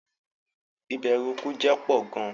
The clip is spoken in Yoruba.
Ìbèrù ikú jẹ pọ̀ gàn